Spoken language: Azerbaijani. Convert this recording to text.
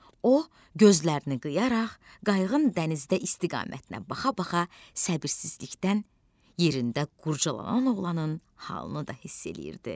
O, gözlərini qıyaraq qayığın dənizdə istiqamətinə baxa-baxa səbirsizlikdən yerində qurcalanan oğlanın halını da hiss edirdi.